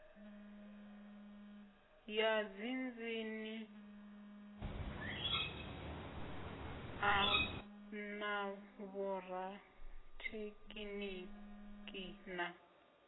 ya dziinzhinia na vhorathekhiniki na